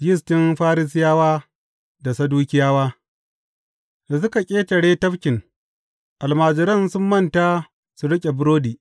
Yistin Farisiyawa da Sadukiyawa Da suka ƙetare tafkin, almajiran sun manta su riƙe burodi.